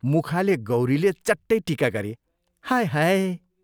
मुखाले गौरीले चट्टै टीका गरी, "हाय हाय!